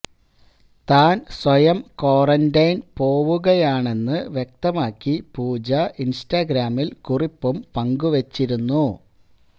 താന് സ്വയം ക്വാറന്റൈന് പോവുകയാണെന്ന് വ്യക്തമാക്കി പൂജ ഇന്സ്റ്റാഗ്രാമില് കുറിപ്പും പങ്കുവച്ചിരുന്നു